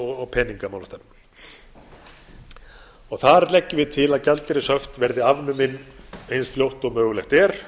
og peningamálastefna þar leggjum við til að gjaldeyrishöft verði afnumin eins fljótt og mögulegt er